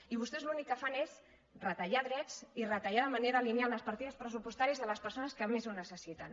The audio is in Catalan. i vostès l’únic que fan és retallar drets i retallar de manera lineal les partides pressupostàries de les persones que més ho necessiten